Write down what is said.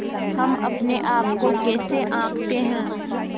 हम अपने आप को कैसे आँकते हैं